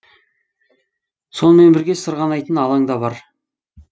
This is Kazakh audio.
сонымен бірге сырғанайтын алаң да бар